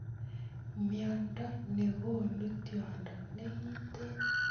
Mnendo nekonu tyondo nekiten .